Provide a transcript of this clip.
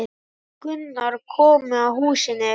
Gunnar komu að húsinu.